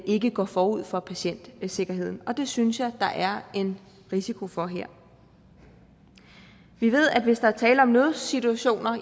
ikke går forud for patientsikkerheden og det synes jeg der er en risiko for her vi ved at hvis der er tale om nødsituationer